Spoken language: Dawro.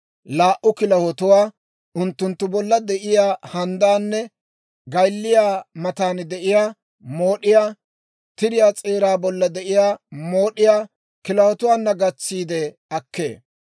laa"u kilahotuwaa, unttunttu bolla de'iyaa handdaanne gaylliyaa matan de'iyaa mood'iyaa, tiriyaa s'eeraa bolla de'iyaa mood'iyaa kilahotuwaana gatsiide akkee.